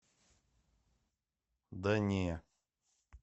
да не